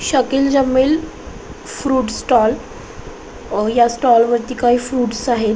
Shakil Jamil fruits stall या stall वरती काही फ्रुट्स आहेत.